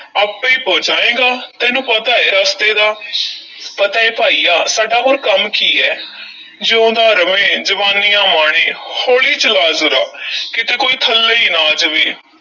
ਆਪੇ ਈ ਪਹੁੰਚਾਏਂਗਾ, ਤੈਨੂੰ ਪਤਾ ਏ ਰਸਤੇ ਦਾ ਪਤਾ ਏ ਭਾਈਆ, ਸਾਡਾ ਹੋਰ ਕੰਮ ਕੀ ਐ ਜਿਊਂਦਾ ਰਵੇਂ, ਜਵਾਨੀਆਂ ਮਾਣੇਂ, ਹੌਲੀ ਚਲਾ ਜ਼ਰਾ ਕਿਤੇ ਕੋਈ ਥੱਲੇ ਈ ਨਾ ਆ ਜਾਵੇ।